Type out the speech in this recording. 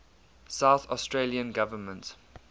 south australian government